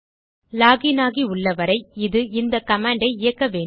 lock in ஆகி உள்ளவரை இது இந்த கமாண்ட் ஐ இயக்க வேண்டும்